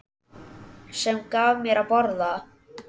Sem gaf mér að borða.